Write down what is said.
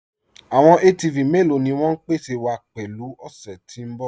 Àwọn ATV mẹ́lọ̀ ni wọn ń pèsè wa pẹ̀lú ọ̀ṣẹ́ tí n bọ̀?